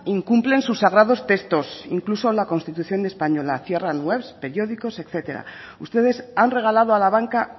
incumplen sus sagrados textos incluso la constitución española cierran webs periódicos etcétera ustedes han regalado a la banca